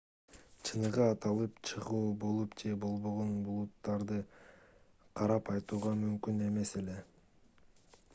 чыныгы атылып чыгуу болуп же болбогонун булуттарды карап айтууга мүмкүн эмес эле